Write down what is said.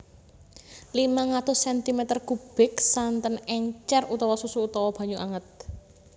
limang atus sentimeter kubik santen encer utawa susu utawa banyu anget